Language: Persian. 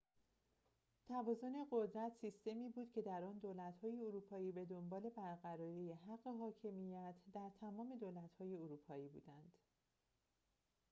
توازن قدرت سیستمی بود که در آن دولت‌های اروپایی بدنبال برقراری حق حاکمیت در تمام دولت‌های اروپایی بودند